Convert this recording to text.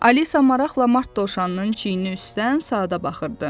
Alisa maraqla Mart dovşanının çiyni üstdən saata baxırdı.